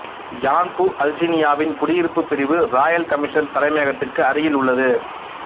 Yanbu அல்சினியாவின் குடியிருப்பு பிரிவு ராயல் கமிஷன் தலைமையகத்திற்கு அருகில் உள்ளது